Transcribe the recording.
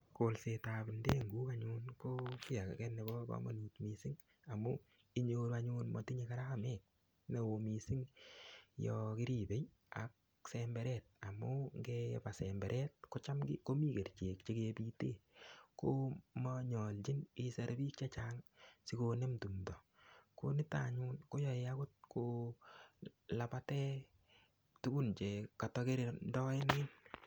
Kolsetab ndenguk anyun ko kii age nebo komonut mising' amu inyoru anyun matinyei karamet ne oo mising' yo koribei ak semberet amu ngepa semberet ko cham komi kerichek chekebite komanyoljin iser biik chechang' sikonam tumto ko nito anyun koyoei akot kolapate tukun che katakirindoenen